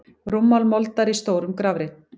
Rúmmál moldar í stórum grafreit.